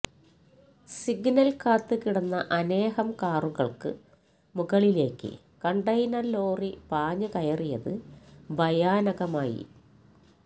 signal കാത്ത് കിടന്ന അനേകം കാറുകൾക്ക് മുകളിലേക്ക് കണ്ടയിനർ ലോറി പാഞ്ഞ് കയറിയത് ഭയാനകമായി